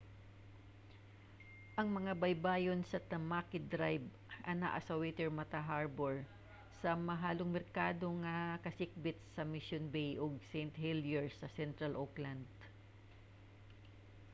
ang mga baybayon sa tamaki drive anaa sa waitemata harbour sa mahalong merkado nga mga kasikbit sa mission bay ug st heliers sa central auckland